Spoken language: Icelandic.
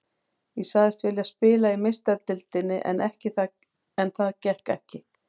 Ég sagðist vilja spila í Meistaradeildinni en það gekk ekki.